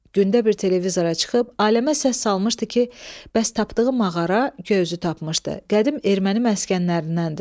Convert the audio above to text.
Gündə bir televizora çıxıb aləmə səs salmışdı ki, bəs tapdığı mağara göyüzü tapmışdı, qədim erməni məskənlərindəndir.